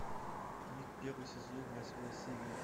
мик первый сезон восьмая серия